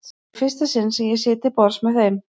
Þetta er í fyrsta sinn sem ég sit til borðs með þeim.